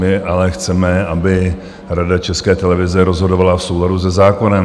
My ale chceme, aby Rada České televize rozhodovala v souladu se zákonem.